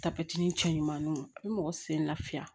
cɛ ɲumaninw a bi mɔgɔ sen lafiya